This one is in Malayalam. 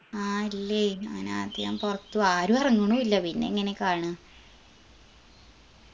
ആ ഇല്ലേയ് അങ്ങനെ അധികം പൊറത്തു ആരു എറങ്ങണു ഇല്ല പിന്നെങ്ങനെ കാണുഅ